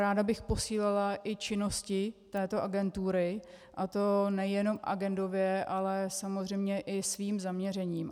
Ráda bych posílila i činnosti této agentury, a to nejenom agendově ale samozřejmě i svým zaměřením.